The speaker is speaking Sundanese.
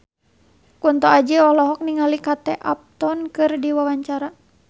Kunto Aji olohok ningali Kate Upton keur diwawancara